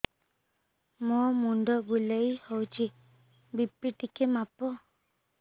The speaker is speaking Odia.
ମୋ ମୁଣ୍ଡ ବୁଲେଇ ହଉଚି ବି.ପି ଟିକେ ମାପ